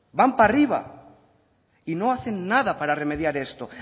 arriba y no hacen nada para hacer esto